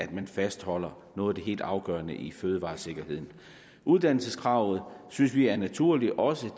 man fastholder noget af det helt afgørende i fødevaresikkerheden uddannelseskravet synes vi er naturligt også